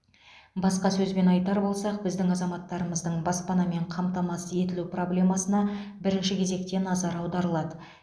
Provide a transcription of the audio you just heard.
басқа сөзбен айтар болсақ біздің азаматтармыздың баспанамен қамтамасыз етілу проблемасына бірінші кезекте назар аударылады